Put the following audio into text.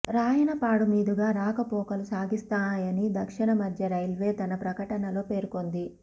రాయనపాడు మీదుగా రాకపోకలు సాగిస్తాయని దక్షిణ మధ్య రైల్వే తన ప్రకటనలోపేర్కొంది